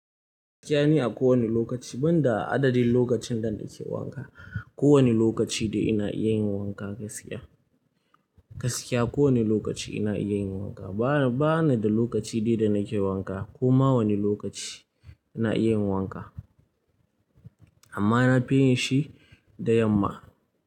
Gaskiya ni a kowani lokaci, ban da adadin lokacin da nake wanka. Ko wani lokaci dai ina iya yin wanka gaskiya. Gaskiya ko wani lokaci ina iya yin wanka. Bana da lokaci dai da nake wanka, koma wani lokaci ina iya yin wanka. Amma na fi yin shi da yamma.